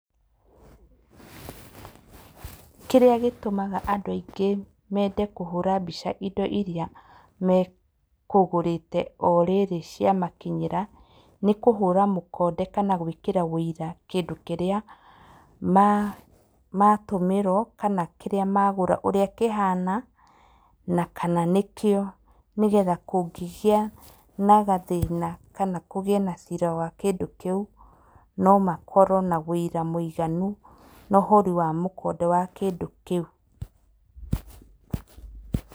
Kĩrĩa gĩtũmaga andũ aingĩ mende kũhũra mbica indo iria mekũgũrĩte o rĩrĩ ciamakinyĩra, nĩ kũhũra mũkonde kana gũĩkĩra ũira kĩndũ kĩrĩa matũmĩrwo, kana kĩrĩa magũra ũrĩa kĩhana. Na kana nĩkĩo nĩgetha kũngĩgĩa na gathĩna kana kũgĩe na cira wa kĩndũ kĩu, nomakorwo na ũira mũiganu na ũhũri wa mũkonde wa kĩndũ kĩu. Pause